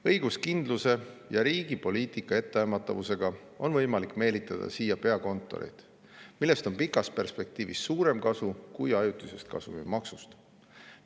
Õiguskindluse ja riigi poliitika etteaimatavusega on võimalik meelitada siia peakontoreid, millest on pikas perspektiivis suurem kasu kui ajutisest kasumimaksust.